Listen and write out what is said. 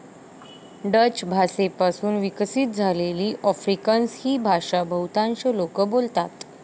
Dutch भाषेपासून विकसित झालेली आफ्रिकान्स ही भाषा बहुतांश लोक बोलतात.